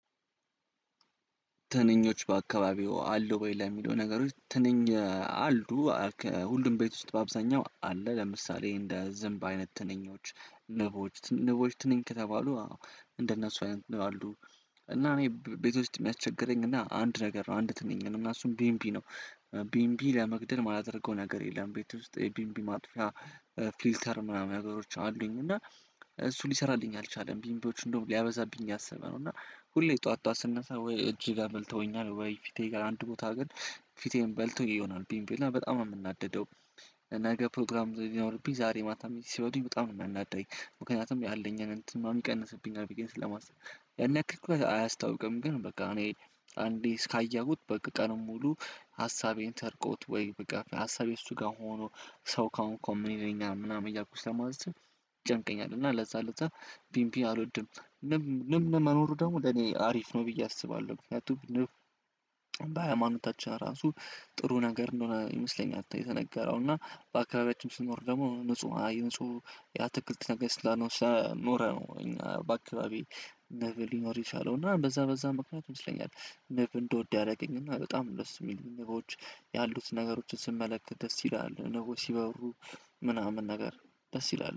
ትንኞች በአካባቢው አሉ ወይ? ለሚኝለው ነገሮች ትን አሉ። ከሁሉም ቤት ውስጥ በአብዛኛው አለ። ለምሳሌ እንደ ዝምብ አይነት ትንኞች፣ ንቦች፣ ንቦች ትንኝ ከተባሉ እንደነሱ አይነት ንብ አሉ። እና እኔ ቤት ውስጥ የሚያስቸግረኝ እና አንድ ነገር ነው። አንድ ትንኝ። እና እሱን ቢምቢ ነው። ቢምቢ ለመግደል የማላደርገው ነገር የለም። ቤት ውስጥ ቢምቢ ማጥፊያ ፊልተር ምናምን ነገሮች አሉኝ። እና እሱ ሊሰራልኝ አልቻለም። ቢምቢዎች እንደውም ሊያበዛብኝ ያሰበ ነው። እና ሁሌ ጠዋት ጠዋት ስንነሳ ወይ እጀ ጋር በልተውኛል ወይ ፊቴ ጋር አንድ ቦታ ግን ፊቴን በልተው ይሆናል። ቢምቢ በጣም የምናደደው። ነገ ፕሮግራም ቢኖርብኝ ዛሬ ማታ እዚህ ሲበጡኝ በጣም ነው የሚያናድደኝ። ምክንያቱም ያለኝ እንትን ምናምን ይቀንስብኛ ብየ ስለማስብ። ያን ያክል አያስታውቅም። ግን በቃ እኔ አንዴ እስካየሁት በቃ ቀኑን ሙሉ ሀሳቤን ተርቀውት ወይ በቃ ሀሳቤ እሱ ጋር ሆኖ ሰው ካሁን ካሁን ምን ይለኛል ምናምን እያልኩ ስለማስብ ይጨንቀኛል። እና ለዛ ለታ ቢምባ አልወድም። ንብ ንብ መኖሩ ደግሞ ለኔ አሪፍ ነው ብዬ አስባለሁ። ምክንያቱም በሃይማኖታችን ራሱ ጥሩ ነገር እንደሆነ ይመስለኛል። የተነገረው እና በአካባቢያችን ስኖር ደግሞ ንጹህ የንጹህ የአትክልት ነገር ስላነወሰ ኖረ ነው እኛ በአካባቢ ንብ ሊኖር የቻለው። እና በዛ በዛ ምክንያት ይመስለኛል ንብ እንድወድ ያደረገኝ። እና በጣም ደስ ሚሉኝ ሚሊየን ንቦች። ያሉትን ነገሮችን ስመለከት ደስ ይላል። ንቦች ሲበሩ ምናምን ነገር ደስ ይላል።